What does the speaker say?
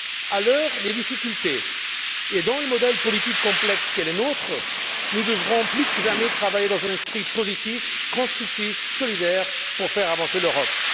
À l'heure des difficultés et dans le modèle politique complexe qui est le nôtre, nous devrons plus que jamais travailler dans un esprit positif, constructif, solidaire pour faire avancer l'Europe.